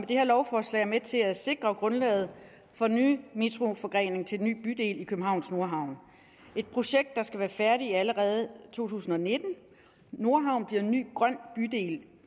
det her lovforslag er med til at sikre grundlaget for den nye metroforgrening til den nye bydel i københavns nordhavn et projekt der skal være færdigt allerede i to tusind og nitten nordhavnen bliver en ny grøn bydel